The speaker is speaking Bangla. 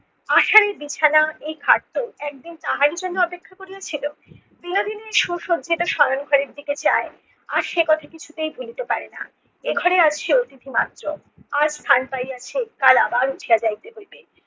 আশার এই বিছানা এই খাট তো একদিন তাহারই জন্য অপেক্ষা করিয়াছিল। বিনোদিনী সুসজ্জিত শয়ন ঘরের দিকে চায় আর সেকথা কিছুতেই ভুলিতে পারে না এ ঘরে আজ সে অতিথি মাত্র। আজ স্থান পাইয়াছে কাল আবার উঠিয়া যাইতে হইবে।